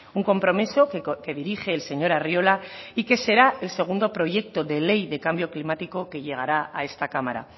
un compromiso que dirige el señor arriola y que será el segundo proyecto de ley de cambio climático que llegará a esta cámara